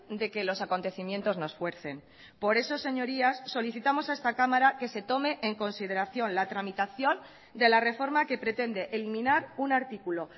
de que los acontecimientos nos fuercen por eso señorías solicitamos a esta cámara que se tome en consideración la tramitación de la reforma que pretende eliminar un artículo